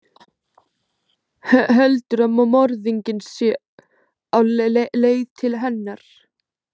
Heldur að morðinginn sé á leið til hennar.